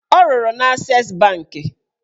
Ọ rụrụ na Ases bankị